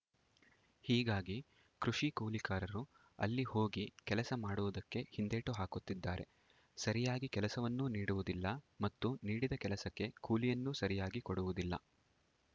ಹೀಗಾಗಿ ಕೃಷಿ ಕೂಲಿಕಾರರು ಅಲ್ಲಿ ಹೋಗಿ ಕೆಲಸ ಮಾಡುವುದಕ್ಕೆ ಹಿಂದೇಟು ಹಾಕುತ್ತಿದ್ದಾರೆ ಸರಿಯಾಗಿ ಕೆಲಸವನ್ನೂ ನೀಡುವುದಿಲ್ಲ ಮತ್ತು ನೀಡಿದ ಕೆಲಸಕ್ಕೆ ಕೂಲಿಯನ್ನೂ ಸರಿಯಾಗಿ ಕೊಡುವುದಿಲ್ಲ